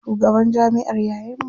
Shugaban jamiʼar yayan mu ne.